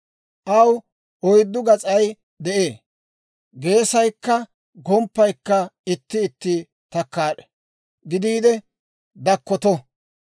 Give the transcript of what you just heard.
Aw oyddu gas'ay de'ee; geesaykka gomppay itti itti takkaad'e gidiide dakkotto.